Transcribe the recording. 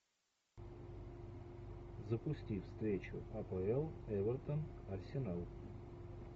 запусти встречу апл эвертон арсенал